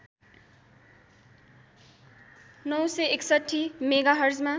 ९६१ मेघाहर्जमा